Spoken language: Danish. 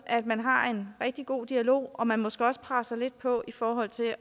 at man har en rigtig god dialog og at man måske også presser lidt på i forhold til at